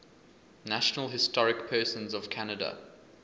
national historic persons of canada